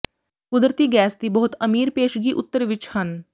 ਕੁਦਰਤੀ ਗੈਸ ਦੀ ਬਹੁਤ ਅਮੀਰ ਪੇਸ਼ਗੀ ਉੱਤਰ ਵਿੱਚ ਹਨ